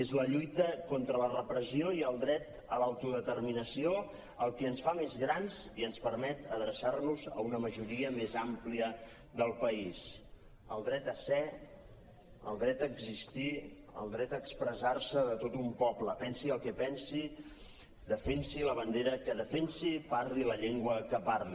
és la lluita contra la repressió i el dret a l’autodeterminació el que ens fa més grans i ens permet adreçar nos a una majoria més àmplia del país el dret a ser el dret a existir el dret a expressar se de tot un poble pensi el que pensi defensi la bandera que defensi i parli la llengua que parli